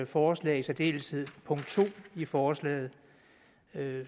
forslag i særdeleshed punkt to i forslaget vil